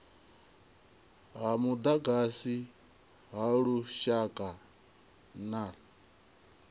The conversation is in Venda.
ha mudagasi ha lushaka ner